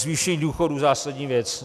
Zvýšení důchodů - zásadní věc.